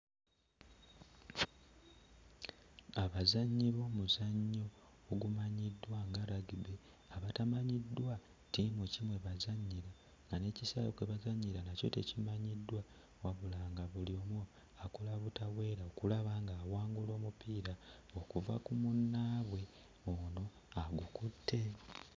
Abazannyi b'omuzannyo ogumanyiddwa nga Rugby abatamanyiddwa ttiimu ki mwe bazannyira nga n'ekisaawe kwe bazannyira nakyo tekimanyiddwa, wabula nga buli omu akola butaweera okulaba ng'awangula omupiira okuva ku munnaabwe ono agukutte.